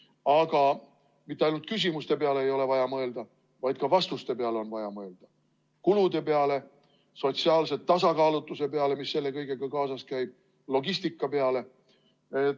Aga mitte ainult küsimuste peale ei ole vaja mõelda, ka vastuste peale on vaja mõelda, kulude peale, sotsiaalse tasakaalutuse peale, mis selle kõigega kaasas käib, logistika peale.